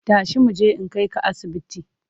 Tashi mu je in kai ka asibiti!